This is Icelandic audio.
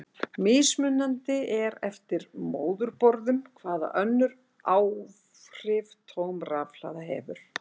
Mismunandi er eftir móðurborðum hvaða önnur áhrif tóm rafhlaða hefur.